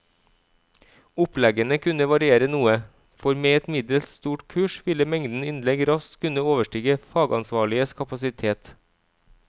Oppleggene kunne variere noe, for med et middels stort kurs ville mengden innlegg raskt kunne overstige fagansvarliges kapasitet.